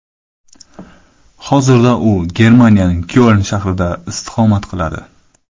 Hozirda u Germaniyaning Kyoln shahrida istiqomat qiladi.